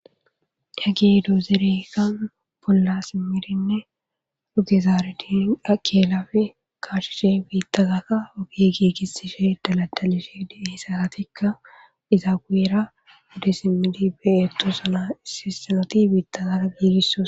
Yagee do zerekka bolla simirinne dudizaare diin akeelapfi kaachshishe biittazaka ogigiigisishe daladalishe hisaatikka izaawiera udisimidi beyeto sana ississenoti biittazaara giidisso.